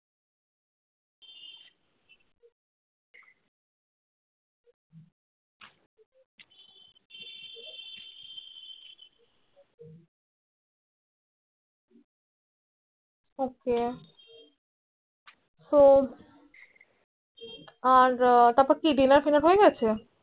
ok তো আর তারপর কি Dinner finner হয়ে গেছে